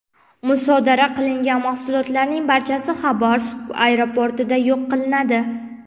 Musodara qilingan mahsulotlarning barchasi Xabarovsk aeroportida yo‘q qilinadi.